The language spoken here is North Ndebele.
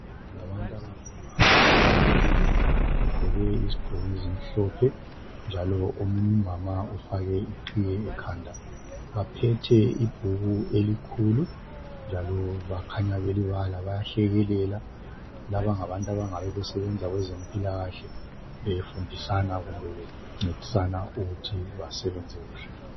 Ngabantu abangomama ababili bagqoke izigqoko ezimhlophe njalo kukhanya omunye umama ufake iqhiye ekhanda baphethe ibhuku elikhulu njalo bakhanya belibala bayahlekelela laba ngabantu abangabe besebenza kwezempilakahle befundisana kumbe bencedisana ukuthi basebenze kuhle.